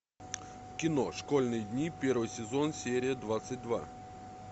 кино школьные дни первый сезон серия двадцать два